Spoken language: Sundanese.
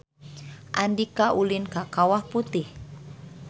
Andika ulin ka Kawah Putih